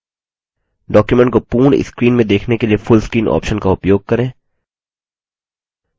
document को पूर्ण screen में देखने के लिए full screen ऑप्शन का उपयोग करें